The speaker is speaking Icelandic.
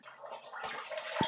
Lífið er gleði og sorg.